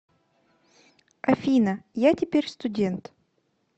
афина я теперь студент